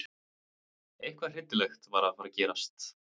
Eitthvað hryllilegt var að fara að gerast.